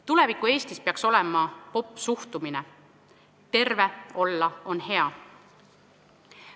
Tuleviku Eestis peaks olema popp see suhtumine, et terve olla on hea.